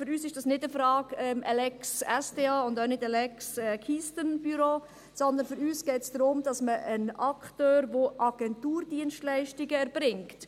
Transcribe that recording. Für uns ist es keine Frage einer Lex SDA- oder einer Lex Keystone-Büro, sondern für uns geht es darum, dass man einen Akteur unterstützt, der Agenturdienstleistungen erbringt.